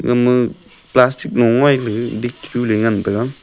ama plastic lo ngoi le ga dik te chu le ngan tega.